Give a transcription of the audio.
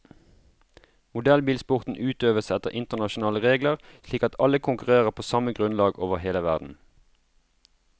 Modellbilsporten utøves etter internasjonale regler, slik at alle konkurrerer på samme grunnlag over hele verden.